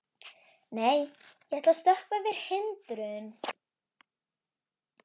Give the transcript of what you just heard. Nei, ég ætla að stökkva yfir hindrun.